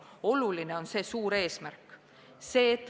Oluline on see suur eesmärk.